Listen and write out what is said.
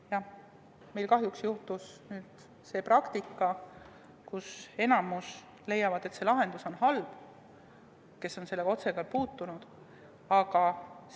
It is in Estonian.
Jah, meil kahjuks on läinud nii, et enamik, kes on sellega otseselt kokku puutunud, leiab, et see lahendus on halb.